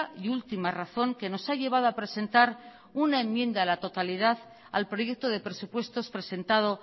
y última razón que nos ha llevado a presentar una enmienda a la totalidad al proyecto de presupuestos presentado